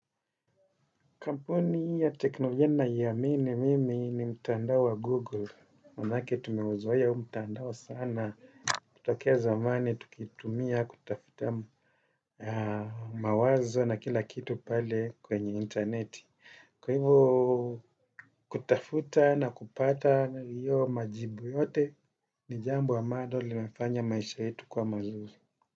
Kampuni ya teknolojia ninayoiamini mimi ni mtandao wa Google. Manake tumeuzoea huu mtandao sana. Kutokea zamani tukitumia kutafuta mawazo na kila kitu pale kwenye interneti. Kwa hivo kutafuta na kupata hiyo majibu yote ni jambo ambalo linafanya maisha yetu kuwa mazuri.